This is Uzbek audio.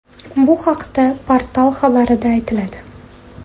Bu haqda portal xabarida aytiladi .